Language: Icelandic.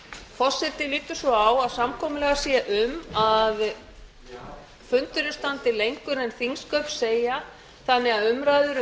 forseti lítur svo á að samkomulag sé um að fundurinn standi lengur en þingsköp segja þannig að umræðum um